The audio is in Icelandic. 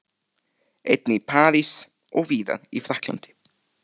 Einnig í París og víðar í Frakklandi.